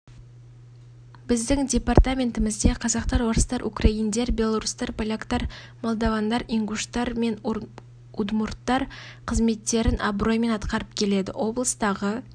біздің департаментімізде қазақтар орыстар украиндер белорустар поляктар молдавандар ингуштар мен удмурдтар қызметтерін абыроймен атқарып келеді облыстағы